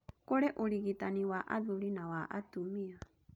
Kũrĩ ũrigitani wa athuri na wa atumia.